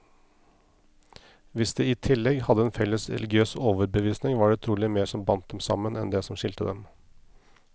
Hvis de i tillegg hadde en felles religiøs overbevisning, var det trolig mer som bandt dem sammen, enn det som skilte dem.